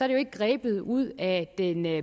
det jo ikke grebet ud af den